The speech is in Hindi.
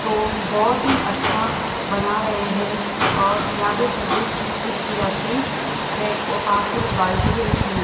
तो बहोत ही अच्छा बना रहे हैं और यहां पर सर्विस भी की जाती है और पास में बाल्टी भी रखी हुई --